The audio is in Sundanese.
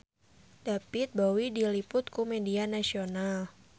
David Bowie diliput ku media nasional